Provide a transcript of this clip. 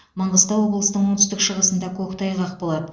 маңғыстау облысының оңтүстік шығысында көктайғақ болады